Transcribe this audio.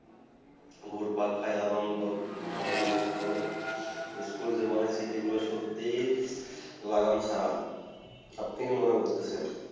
উপর পাঙ্খা আনন্দ ঘনমূর্হত স্কুল জোবনে ক্ষেত্রে গুলু সত্যিই লাগান ছাড়া আপনি কি মনে করছেন